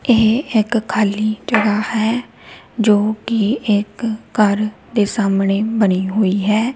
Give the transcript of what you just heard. ਏਹ ਇੱਕ ਖਾਲੀ ਜਗਾਹ ਹੈ ਜੋ ਕੀ ਇੱਕ ਘੱਰ ਦੇ ਸਾਹਮਣੇ ਬਨੀ ਹੋਈ ਹੈ।